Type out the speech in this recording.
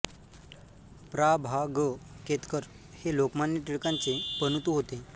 प्रा भा ग केतकर हे लोकमान्य टिळकांचे पणतू होते